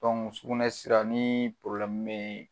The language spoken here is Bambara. sugunɛ sira ni bɛ ye.